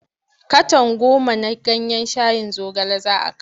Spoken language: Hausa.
Katon goma na ganyen shayin zogale za kawo.